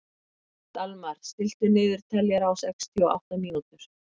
Dalmar, stilltu niðurteljara á sextíu og átta mínútur.